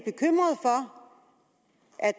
er